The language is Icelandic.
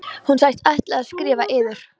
Hann sagðist ætla að skrifa yður.